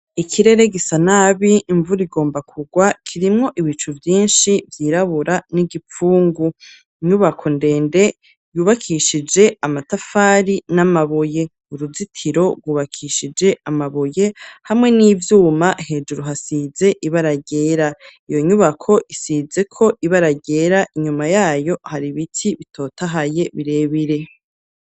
Ikirere gisa nabi, imvura igomba kugwa, kirimwo ibicu vyinshi, vyirabura n'igipfungu; inyubako ndende, yubakishije amatafari n'amabuye; uruzitiro rwubakishije amabuye hamwe n'ivyuma, hejuru hasize ibara ryera; iyo nyubako, isizeko ibara ryera, inyuma yayo hari ibiti bitotahaye birebire.